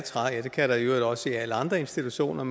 hvad der i øvrigt også gælder i alle andre institutioner